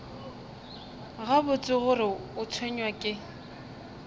gabotse gore o tshwenywa ke